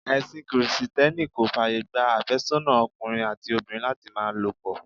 Ẹsin Kirìtẹ́nì kò fàyè gba afésónà ọkùnrin àti obìnrin láti máa lo pọ̀.